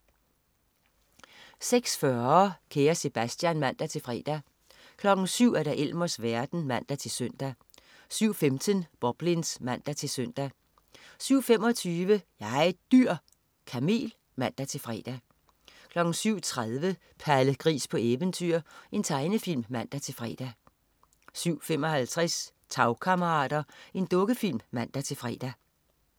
06.40 Kære Sebastian (man-fre) 07.00 Elmers verden (man-søn) 07.15 Boblins (man-søn) 07.25 Jeg er et dyr!. Kamel (man-fre) 07.30 Palle Gris på eventyr. Tegnefilm (man-fre) 07.55 Tagkammerater. Dukkefilm (man-fre)